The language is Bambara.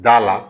Da la